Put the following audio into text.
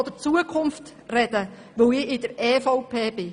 Ich möchte nun von der Zukunft sprechen, weil ich Mitglied der EVP bin.